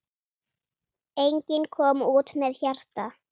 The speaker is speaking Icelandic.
Enginn kom út með hjarta.